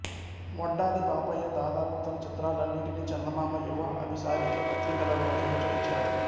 వడ్డాది పాపయ్య దాదాపు తన చిత్రాలన్నిటిని చందమామ యువ అభిసారిక పత్రికలలోనే ప్రచురించాడు